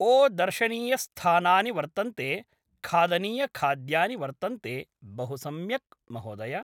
ओ दर्शनीयस्थानानि वर्तन्ते खादनीयखाद्यानि वर्तन्ते बहु सम्यक् महोदय